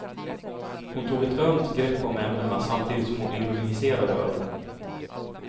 Hon tog ett ömt grepp om ämnena samtidigt som hon ironiserade över dem.